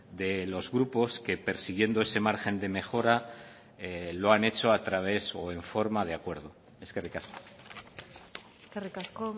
de los grupos que persiguiendo ese margen de mejora lo han hecho a través o en forma de acuerdo eskerrik asko eskerrik asko